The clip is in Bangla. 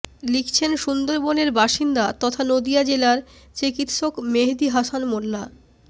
লিখছেন সুন্দরবনের বাসিন্দা তথা নদিয়া জেলার চিকিৎসক মেহেদি হাসান মোল্লা